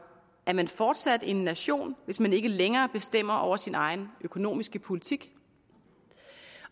er man fortsat en nation hvis man ikke længere bestemmer over sin egen økonomiske politik